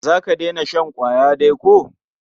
Za ka daina shan ƙwaya dai ko?